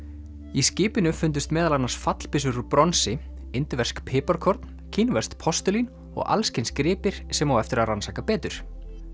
í skipinu fundust meðal annars fallbyssur úr bronsi indversk piparkorn kínverskt postulín og alls kyns gripir sem á eftir að rannsaka betur